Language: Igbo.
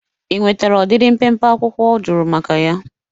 Ị nwetere ọdịdị mpempe akwụkwọ ọ jụrụ maka ya?